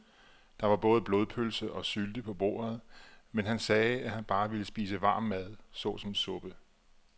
Der var både blodpølse og sylte på bordet, men han sagde, at han bare ville spise varm mad såsom suppe.